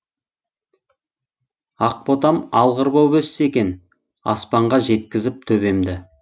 ақ ботам алғыр боп өссе екен аспанға жеткізіп төбемді